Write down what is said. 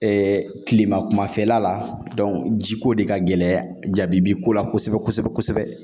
kilema kumafɛla la jiko de ka gɛlɛ jaabi bi ko la kosɛbɛ kosɛbɛ kosɛbɛ.